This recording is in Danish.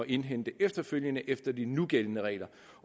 indhente efterfølgende efter de nugældende regler